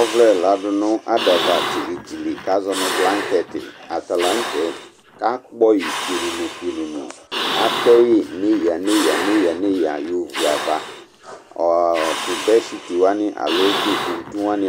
ɔvlɛ ladu nʊ adava tili tili kʊ azɔ nʊ blanketi, atalanʊtɛ, kʊ akpɔyi pionono, pionono, atɛyi neya neya yɔ viava, tʊ kuntuwani